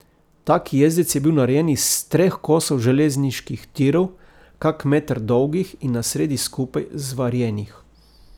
Tak jezdec je bil narejen iz treh kosov železniških tirov, kak meter dolgih in na sredi skupaj zvarjenih.